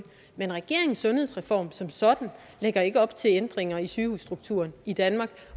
men regeringens sundhedsreform som sådan lægger ikke op til ændringer i sygehusstrukturen i danmark